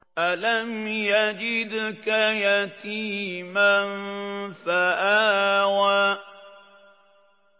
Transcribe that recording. أَلَمْ يَجِدْكَ يَتِيمًا فَآوَىٰ